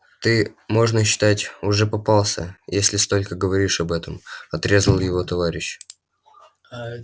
ты можно считать уже попался если столько говоришь об этом отрезал его товарищ